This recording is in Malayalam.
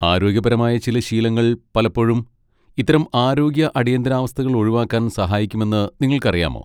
ആരോഗ്യപരമായ ചില ശീലങ്ങൾ പലപ്പോഴും ഇത്തരം ആരോഗ്യ അടിയന്തരാവസ്ഥകൾ ഒഴിവാക്കാൻ സഹായിക്കുമെന്ന് നിങ്ങൾക്കറിയാമോ?